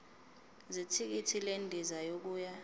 zethikithi lendiza yokuya